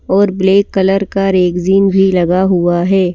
और black colour का rexine भी लगा हुआ है।